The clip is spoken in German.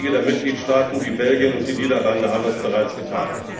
Einige der Mitgliedstaaten wie Belgien und die Niederlande haben das bereits getan.